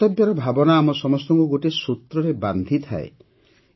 କର୍ତ୍ତବ୍ୟର ଭାବନା ଆମ ସମସ୍ତଙ୍କୁ ଗୋଟିଏ ସୂତ୍ରରେ ବାନ୍ଧିଥାଏ